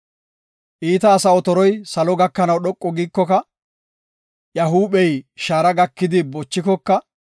Iita asa otoroy salo gakanaw dhoqu giikoka, iya huuphey shaara gakidi bochikoka,